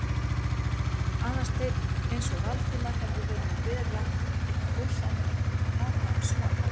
Aðalsteinn eins og Valdimar hefði verið að bera eitthvað ósæmilegt upp á látinn son hans.